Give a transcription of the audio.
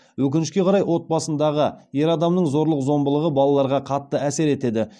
өкінішке қарай отбасындағы ер адамның зорлық зомбылығы балаларға қатты әсер етеді